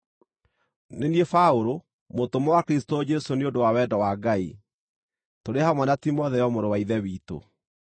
Nĩ niĩ Paũlũ, mũtũmwo wa Kristũ Jesũ nĩ ũndũ wa wendo wa Ngai, tũrĩ hamwe na Timotheo mũrũ wa Ithe witũ,